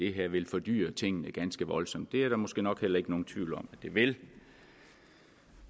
det her vil fordyre tingene ganske voldsomt det er der måske nok heller ikke nogen tvivl om at det vil